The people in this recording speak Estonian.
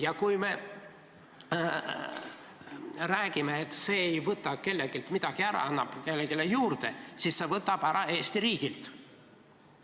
Ja kui me räägime, et see ei võta kelleltki midagi ära, vaid annab kellelegi juurde, siis see võtab ära Eesti riigilt.